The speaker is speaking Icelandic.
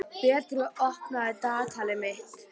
Beitir, opnaðu dagatalið mitt.